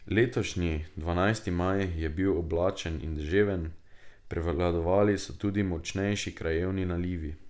Letošnji dvanajsti maj je bil oblačen in deževen, prevladovali so tudi močnejši krajevni nalivi.